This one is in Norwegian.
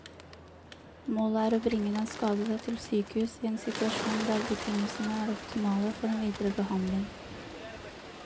Målet er å bringe den skadede til sykehus i en situasjon der betingelsene er optimale for den videre behandling.